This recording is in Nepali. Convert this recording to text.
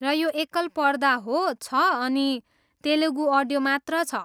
र यो एकल पर्दा हो छ अनि तेलुगु अडियो मात्र छ।